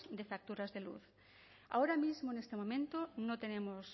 de facturas de luz ahora mismo en este momento no tenemos